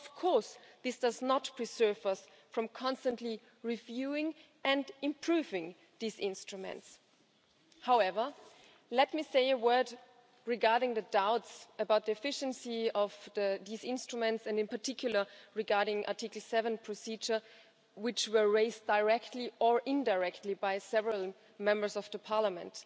Of course, this does not prevent us from constantly reviewing and improving these instruments. However, let me say a word regarding the doubts about the efficiency of these instruments and, in particular, regarding the Article 7 procedure, which were raised, directly or indirectly, by several Members of the Parliament.